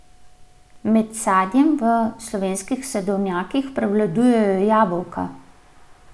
Med sadjem v slovenskih sadovnjakih prevladujejo jabolka.